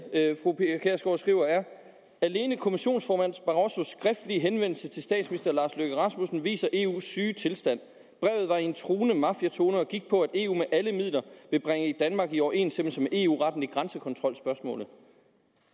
fru pia kjærsgaard skriver er alene kommissionsformand barrossos skriftlige henvendelse til statsminister lars løkke rasmussen viser eu’s syge tilstand brevet var i en truende mafiatone og gik på at eu med alle midler ville bringe danmark i overensstemmelse med eu retten i grænsekontrolspørgsmålet